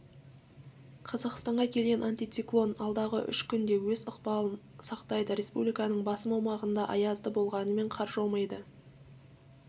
қазақстанға келген антициклон алдағы үш күнде өз ықпалын сақтайды республиканың басым аумағында аязды болғанымен қар жаумайды